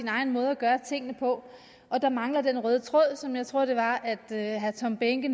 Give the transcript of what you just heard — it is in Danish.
egen måde at gøre tingene på og der mangler den røde tråd som jeg tror det var herre tom behnke